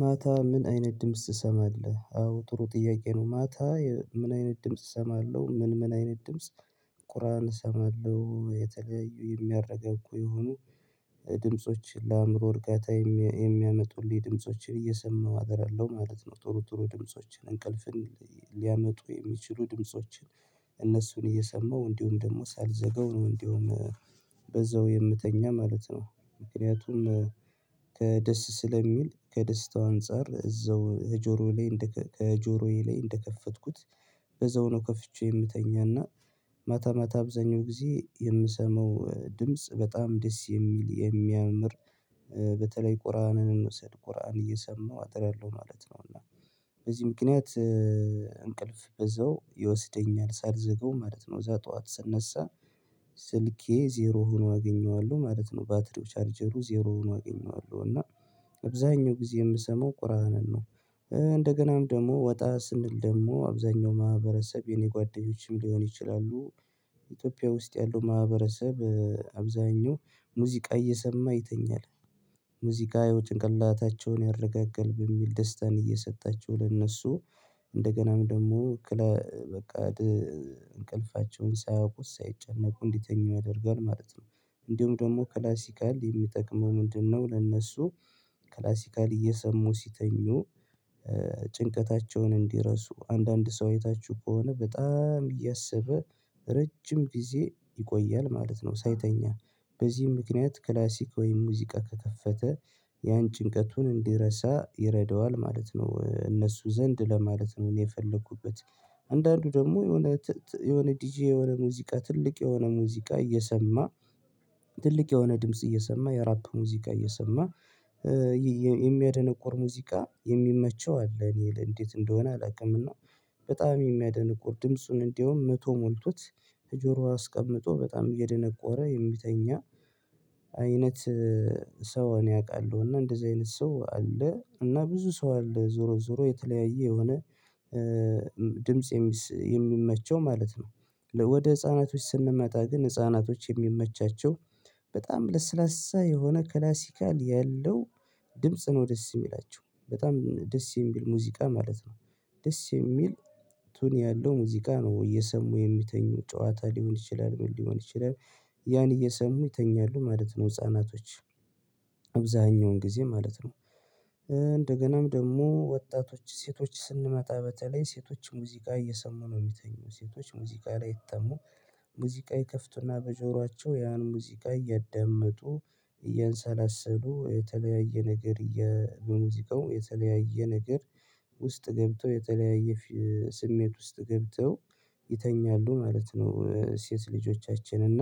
ማታ ምን አይነት ድምጽ ትሰማለህ? አዎ ጥሩ ጥያቄ ነው ማታ ምን አይነት ድምጽ እሰማለሁ ምን ምን አይነት ድምጽ ቁርአን እሰማለሁ የተለያዩ የሚያረጋጉ የሆኑ ድምጾች ለአእምሮ እርጋታ የሚያመጡልኝ ድምፆችን እየሰማሁ አድራለው ማለት ነው ጥሩ ጥሩ ድምፆችን እንቅልፍን ሊያመጡ የሚችሉ ድምፆችን እነሱን እየሰማሁ እንዲሁም ደግሞ ሳልዘጋው ነው እንደውም በዛው የምተኛ ማለት ነው ምክንያቱም ከደስ ስለሚል ከደስታው አንፃር እዛው ከጆሮዬ ላይ እንደከፈትኩት በዛው ነው ከፍቼ የምተኛና ማታ ማታ አብዛኛውን ጊዜ የምሰማው ድምጽ በጣም ደስ የሚል የሚያምር በተለይ ቁርአንን እንውሰድ ቁርአን እየሰማው አድራለው ማለት ነው። እና በዚህ ምክንያት እንቅልፍ በዛው ይወስደኛል ሳልዘጋው ማለት ነው ከዛ ጠዋት ስነሳ ስልኬ ዜሮ ሆኖ አገኘዋለሁ ማለት ነው። ባትሪው ቻርጀሩ ዜሮ ሆኖ አገኘዋለሁ እና አብዛኛው ጊዜ የምሰማው ቁርአንን ነው። እንደገናም ደግሞ ወጣ ስንል ደግሞ አብዛኛው ማህበረሰብ የኔ ጓደኞችም ሊሆኑ ይችላሉ ኢትዮጵያ ውስጥ ያለው ማህበረሰብ አብዛኛው ሙዚቃ እየሰማ ይተኛል። ሙዚቃ ያው ጭንቅላታቸውን ያረጋጋል በሚል ደስታን እየሰጣቸው ለእነሱ እንደገናም ደግሞ እክለ በቃ እንቅልፋቸውን ሳያውቁት ሳይጨነቁ እንዲተኙ ያደርጋል ማለት ነው። እንዲሁም ደግሞ ክላሲካል የሚጠቅመው ምንድነው ለእነሱ ክላሲካል እየሰሙ ሲተኙ ጭንቀታቸውን እንዲረሱ አንዳንድ ሰው አይታችሁ ከሆነ በጣም እያሰበ ረጅም ጊዜ ይቆያል ማለት ነው ሳይተኛ በዚህም ምክንያት ክላሲክ ወይም ሙዚቃ ከከፈተ ያን ጭንቀቱን እንዲረሳ ይረዳዋል ማለት ነው። እነሱ ዘንድ ለማለት ነው የፈለኩበት አንዳንዱ ደግሞ የሆነ የሆነ ዲጄ የሆነ ሙዚቃ ትልቅ የሆነ ሙዚቃ እየሰማ ትልቅ የሆነ ድምጽ እየሰማ የራፕ ሙዚቃ እየሰማ የሚያደነቁር ሙዚቃ የሚመቸው አለ እኔ እንዴት እንደሆነ አላውቅምና በጣም የሚያደነቁር ድምጹን እንዲያውም መቶ ሞልቶት ከጆሮ አስቀምጦ በጣም እየደነቆረ የሚተኛ አይነት ሰው እኔ አውቃለሁ እና እንደዚህ አይነት ሰው አለ እና ብዙ ሰው አለ ዞሮ ዞሮ የተለያየ የሆነ ድምጽ የሚመቸው ማለት ነው። ወደ ህፃናቶች ስንመጣ ግን ህፃናቶች የሚመቻቸው በጣም ለስላሳ የሆነ ክላሲካል ያለው ድምጽ ነው ደስ የሚላቸው በጣም ደስ የሚል ሙዚቃ ማለት ነው ደስ የሚል ቶን ያለው ሙዚቃ ነው እየሰሙ የሚተኙ ጨዋታ ሊሆን ይችላል ምን ሊሆን ይችላል ያን እየሰሙ ይተኛሉ ማለት ነው ህፃናቶች አብዛኛውን ጊዜ ማለት ነው። እንደገናም ደግሞ ወጣቶች ሴቶች ስንመጣ በተለይ ሴቶች ሙዚቃ እየሰሙ ነው የሚተኙት። ሴቶች ሙዚቃ ላይ አይታሙም ሙዚቃ ይከፍቱና በጆሯቸው ያን ሙዚቃ እያዳመጡ እያንሰላሰሉ የተለያየ ነገር በሙዚቃው የተለያየ ነገር ውስጥ ገብተው የተለያየ ስሜት ውስጥ ገብተው ይተኛሉ ማለት ነው ሴት ልጆቻችን እና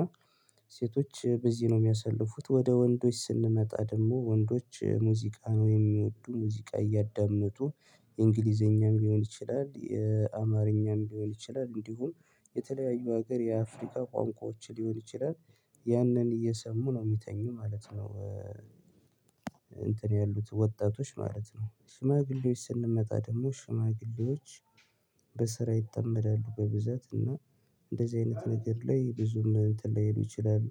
ሴቶች በዚህ ነው የሚያሳልፉት ወደ ወንዶች ስንመጣ ደግሞ ወንዶች ሙዚቃ ነው የሚወዱ ሙዚቃ እያዳመጡ እንግሊዘኛም ሊሆን ይችላል፣ አማርኛም ሊሆን ይችላል፣ እንዲሁም የተለያዩ ሀገር የአፍሪካ ቋንቋዎች ሊሆን ይችላል ያንን እየሰሙ ነው የሚተኙ ማለት ነው። እንትን ያሉት ወጣቶች ማለት ነው ሽማግሌዎች ስንመጣ ደግሞ ሽማግሌዎች በስራ ይጠመዳሉ በብዛት እና እንደዚህ አይነት ነገር ላይ ብዙም እንትን ላይሉ ይችላሉ።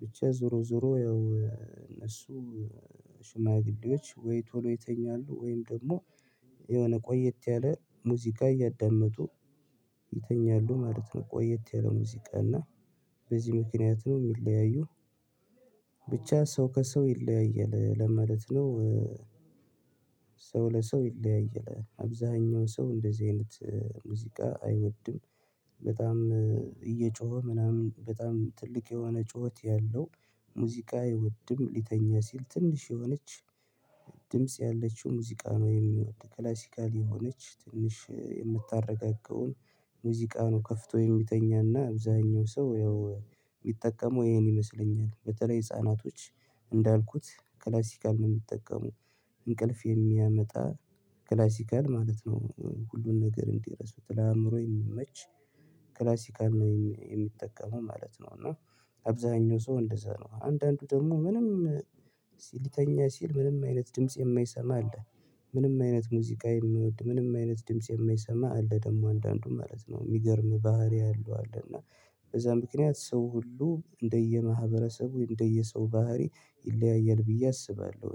ብቻ ዞሮ ዞሮ ያው እነሱ ሽማግሌዎች ወይ ቶሎ ይተኛሉ ወይም ደግሞ የሆነ ቆየት ያለ ሙዚቃ እያዳመጡ ይተኛሉ ማለት ነው። ቆየት ያለ ሙዚቃ እና በዚህ ምክንያት ነው የሚለያዩ ብቻ ሰው ከሰው ይለያያል ለማለት ነው ሰው ለሰው ይለያያል አብዛኛው ሰው እንደዚህ አይነት ሙዚቃ አይወድም በጣም እየጮኸ ምናምን በጣም ትልቅ የሆነ ጩኸት ያለው ሙዚቃ አይወድም ሊተኛ ሲል ትንሽ የሆነች ድምጽ ያለችውን ሙዚቃ ነው የሚወድ ክላሲካል የሆነች ትንሽ የምታረጋጋውን ሙዚቃ ነው ከፍቶ የሚተኛና አብዛኛው ሰው ያው የሚጠቀመው ይሄን ይመስለኛል በተለይ ህፃናቶች እንዳልኩት ክላስሲካል ነው የሚጠቀሙ እንቅልፍ የሚያመጣ ክላሲካል ማለት ነው ሁሉን ነገር እንዲረሱት ለአእምሮ የሚመች ክላሲካል ነው የሚጠቀመው ማለት ነው። እና አብዛኛው ሰው እንደዛ ነው አንዳንዱ ደግሞ ምንም ሊተኛ ሲል ምንም አይነት ድምጽ የማይሰማ አለ ምንም አይነት ሙዚቃ የማይወድ ምንም አይነት ድምጽ የማይሰማ አለ ደግሞ አንዳንዱ ማለት ነው የሚገርም ባህሪ ያለው አለ እና በዛ ምክንያት ሰው ሁሉ እንደየማህበረሰቡ እንደየሰው ባህሪ ይለያያል ብዬ አስባለሁ